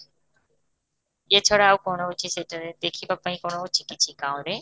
ୟେ ଛଡା ଆଉ କଣ ରହୁଛି ସେଠାରେ, ଦେଖିବାପାଇଁ କ'ଣ ଅଛି କିଛି ରେ?